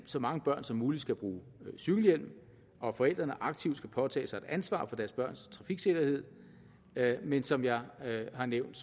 så mange børn som muligt skal bruge cykelhjelm og at forældrene aktivt skal påtage sig et ansvar for deres børns trafiksikkerhed men som jeg har nævnt